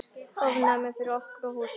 Ofnæmi fyrir okkur og húsinu!